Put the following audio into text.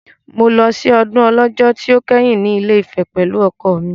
Mo lọ sí ọdún Ọlọ́jọ́ tí ó kẹ́yìn ní Ilé-Ifẹ̀ pẹ̀lú ọkọ mi.